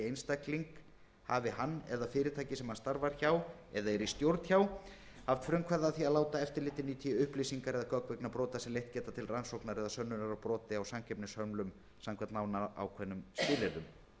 einstakling hafi hann eða fyrirtæki sem hann starfar hjá eða er í stjórn hjá haft frumkvæði að því að láta eftirlitinu í té upplýsingar eða gögn vegna brota sem geta leitt til rannsóknar eða sönnunar á broti á samkeppnishömlum samkvæmt nánar ákveðnum skilyrðum